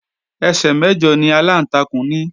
Ẹsẹ̀ mẹ̀jọ ni aláǹtakùn ní